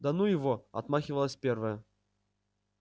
да ну его отмахивалась первая